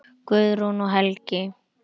Guðrún og Helgi.